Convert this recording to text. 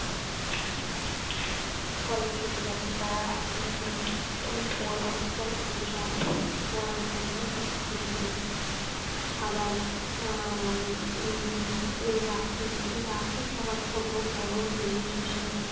college ছুটি থাকে তারা উম অনেকে tuition পড়ার জায়গাও সব ছুটি থাকে আবার উম এই রাখি এই রাখি সবার ছোট বড় নির্বিশেষে